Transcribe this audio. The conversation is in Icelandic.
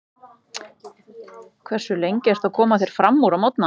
Hversu lengi ertu að koma þér framúr á morgnanna?